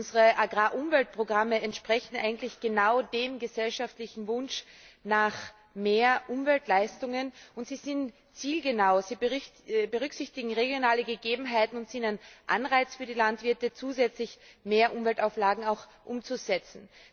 Unsere Agrarumweltprogramme entsprechen eigentlich genau dem gesellschaftlichen Wunsch nach mehr Umweltleistungen und sie sind zielgenau. Sie berücksichtigen regionale Gegebenheiten und sind ein Anreiz für die Landwirte, zusätzlich mehr Umweltauflagen umzusetzen.